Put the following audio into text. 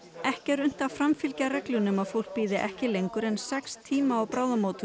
ekki er unnt að framfylgja reglunni um að fólk bíði ekki lengur en sex tíma á bráðamóttöku